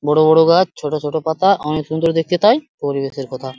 বড় বড় গাছ ছোট ছোট পাতা অনেক সুন্দর দেখতে তাই পরিবেশের কথা।